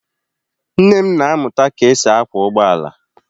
Nne m na-amụta ka e si akwọ ụgbọ ala.